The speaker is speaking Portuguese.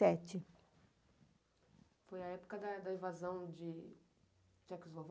sete. Foi a época da invasão de Czechoslováquia...